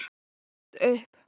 Stattu upp!